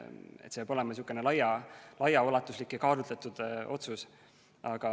See peab olema laiaulatuslik ja kaalutletud otsus.